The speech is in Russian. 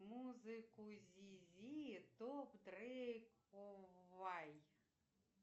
музыку зизи топ дрейк вай